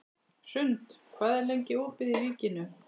Hrund, hvað er lengi opið í Ríkinu?